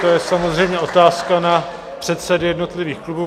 To je samozřejmě otázka na předsedy jednotlivých klubů.